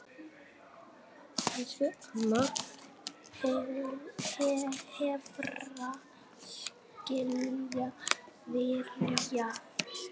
Elsku amma, hvar skal byrja?